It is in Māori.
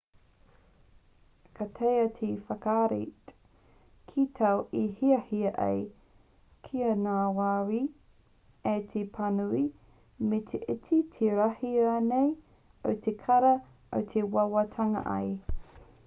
ka taea te whakarite ki tāu i hiahia ai kia ngāwari ai te pānui me te iti me te rahi rānei o te kara i wawatangia ai